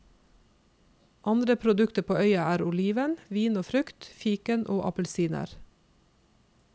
Andre produkter på øya er oliven, vin og frukt, fiken og appelsiner.